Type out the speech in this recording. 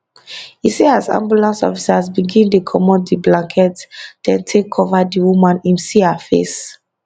e say as ambulance officers begin dey comot di blankets dem take cover di woman im see her face